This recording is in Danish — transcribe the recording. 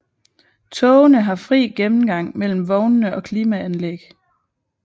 Togene har fri gennemgang mellem vognene og klimaanlæg